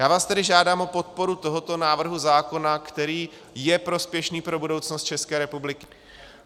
Já vás tedy žádám o podporu tohoto návrhu zákona, který je prospěšný pro budoucnost České republiky.